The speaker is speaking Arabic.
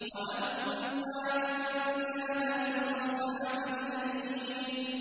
وَأَمَّا إِن كَانَ مِنْ أَصْحَابِ الْيَمِينِ